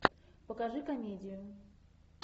покажи комедию